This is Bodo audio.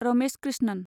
रमेश क्रिस्नन